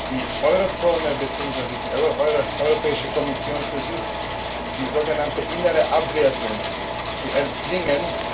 Die Eurozone beziehungsweise die Europäische Kommission versucht, diese sogenannte innere Abwertung zu erzwingen.